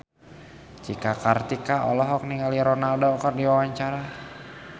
Cika Kartika olohok ningali Ronaldo keur diwawancara